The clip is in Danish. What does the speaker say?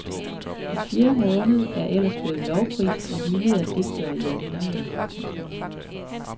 Den fjerde måned er ellers blevet lovprist og hyldet af digtere i århundreder. punktum